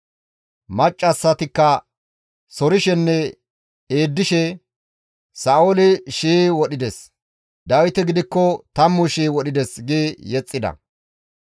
Maccassatikka sorshenne eeddishe, «Sa7ooli shii wodhides; Dawiti gidikko tammu shii wodhides» gi yexxida.